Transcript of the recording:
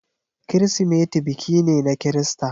Kirsimeti biki ne na Kirista.